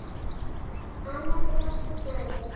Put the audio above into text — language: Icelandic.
Annars er allt í góðu.